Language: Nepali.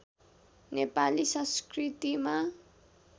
नेपाली संस्कृतिमा